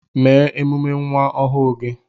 Mee emume nwa ọhụụ gị